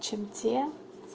чем те